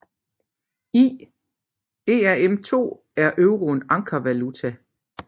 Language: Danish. I ERM II er euroen ankervaluta